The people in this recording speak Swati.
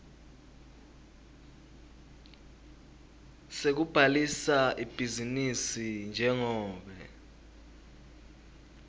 sekubhalisa ibhizinisi njengobe